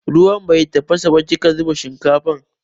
Ruwan bai tafasa ba kika zuba shinkafa.